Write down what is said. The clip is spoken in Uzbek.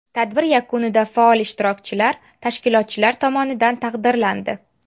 Tadbir yakunida faol ishtirokchilar tashkilotchilar tomonidan taqdirlandi.